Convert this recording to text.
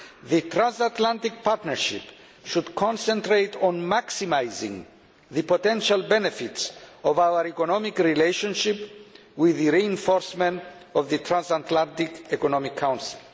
The transatlantic partnership should concentrate on maximising the potential benefits of our economic relationship, with the reinforcement of the Transatlantic Economic Council.